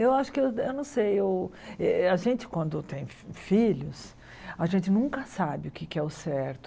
Eu acho que, eu eu não sei eu, eh a gente quando tem filhos, a gente nunca sabe o que é que é o certo.